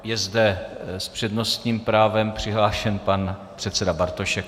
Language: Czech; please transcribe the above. Je zde s přednostním právem přihlášen pan předseda Bartošek.